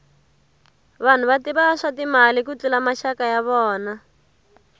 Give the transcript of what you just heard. vanhu va tiva swa timali ku tlula maxaka ya vona